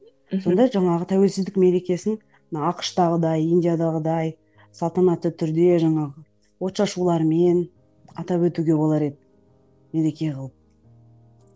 мхм сонда жаңағы тәуелсіздік мерекесін мына ақш тағыдай индиядағыдай салтанатты түрде жаңағы от шашулармен атап өтуге болар еді мереке қылып